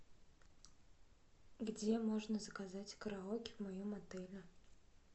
где можно заказать караоке в моем отеле